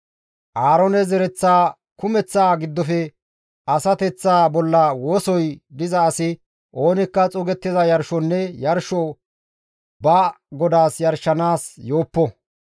Aaroone zereth kumeththaa giddofe asateththa bolla wosoy diza asi oonikka xuugettiza yarshonne yarsho ba GODAAS yarshanaas yooppo.